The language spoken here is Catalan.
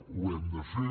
ho hem de fer